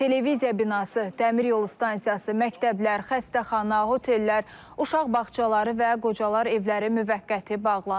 Televiziya binası, dəmiryolu stansiyası, məktəblər, xəstəxana, otellər, uşaq bağçaları və qocalar evləri müvəqqəti bağlanıb.